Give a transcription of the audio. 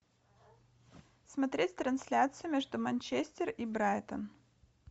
смотреть трансляцию между манчестер и брайтон